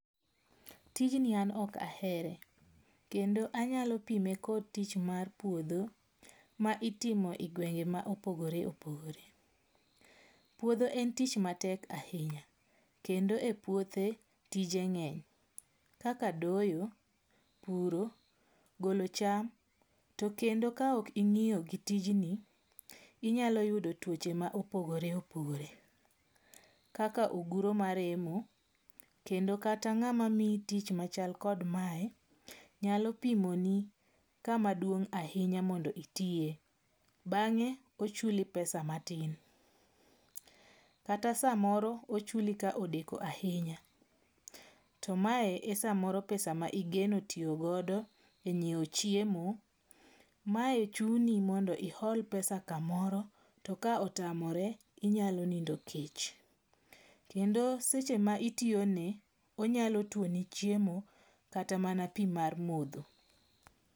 Tijni an ok ahere kendo anyalo pime kod tich mar puodho ma itimo e gwenge ma opogore opogore. Puodho en tich matek ahinya kendo e puothe tije ng'any kaka doyo, puro, golo cham. To kendo ka ok ing'iyo gi tijni inyalo yudo tuoche ma opogore opogore kaka: oguro maremo kendo kata mana ng'ama miyi tich machal kod mae nyalo pimo ni kama duong' ahinya mondo itiye bange ochuli pesa matin kata samoro ochuli ka odeko ahinya . To mae e samoro ma igeno tiyo godo e nyiewo chiemo. Mae chuni omondi iol pesa kamoro to ka otamore inyalo nindo kech. Kendo seche ma itiyo ne onyalo tuoni chiemo kata mana pii mar modho.